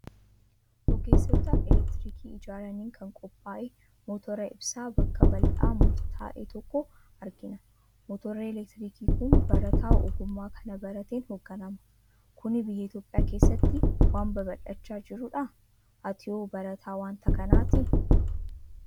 Ogeessota elektirikii ijaaraniin kan qophaa'e, motora ibsaa bakka bal'aa murtaa'e tokkoo argina. Motorri elektirikii kun barataa ogummaa kana barateen hoogganama. Kuni biyya Itoophiyaa keessatti waan babal'achaa jirudhaa? Atihoo barataa waanta kanaatii?